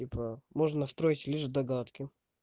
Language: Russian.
типа можно строить лишь догадки